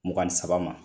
Mugan ni saba ma